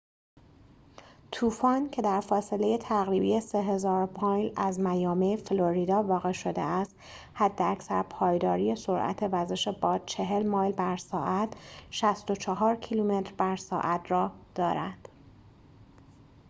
طوفان، که در فاصله تقریبی 3000 مایل از میامی، فلوریدا واقع شده است، حداکثر پایداری سرعت وزش باد 40 مایل بر ساعت 64 کیلومتر بر ساعت را دارد